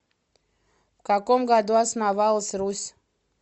в каком году основалась русь